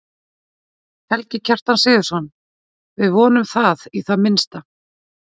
Helgi Kjartan Sigurðsson: Við vonum það í það minnsta?